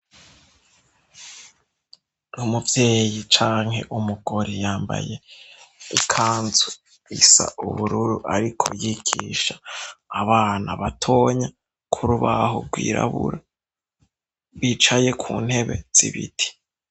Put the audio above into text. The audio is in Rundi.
Umuvyeyi canke umugore yambaye ikanzu isa ubururu, ariko yigisha abana batonya kuri ubahugwirabura bicaye ku ntebe z'ibiti.